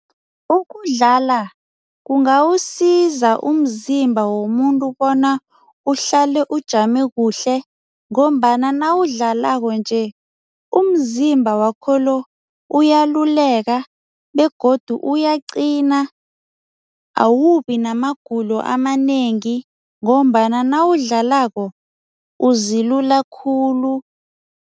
Ukudlala kungawusiza umzimba womuntu bona uhlale ujame kuhle ngombana nawudlalako nje, umzimba wakho lo uyaluleka begodu uyaqina, awubi namagulo amanengi ngombana nawudlalako uzilula khulu.